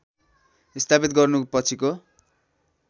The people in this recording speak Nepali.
स्थापित गर्नुको पछिको